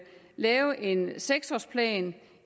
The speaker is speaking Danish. lave en seks årsplan